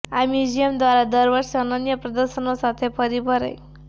આ મ્યુઝિયમ દ્વારા દર વર્ષે અનન્ય પ્રદર્શનો સાથે ફરી ભરાઈ